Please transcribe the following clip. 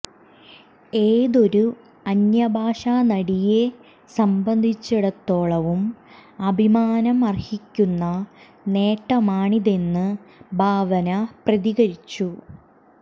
ഏതൊരു അന്യ ഭാഷാ നടിയെ സംബന്ധിച്ചിടത്തോളവും അഭിമാന മര്ഹിക്കുന്ന നേട്ടമാണിതെന്നു ഭാവന പ്രതികരിച്ചു